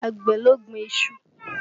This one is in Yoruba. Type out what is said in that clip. Àgbẹ̀ ló gbin iṣu